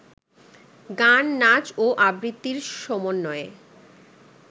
গান, নাচ ও আবৃত্তির সমন্বয়ে